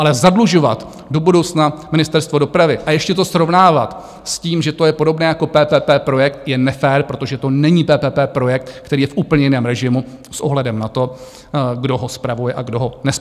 Ale zadlužovat do budoucna Ministerstvo dopravy a ještě to srovnávat s tím, že to je podobné jako PPP projekt, je nefér, protože to není PPP projekt, který je v úplně jiném režimu s ohledem na to, kdo ho spravuje a kdo ho nespravuje.